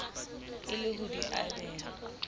e le ho di abela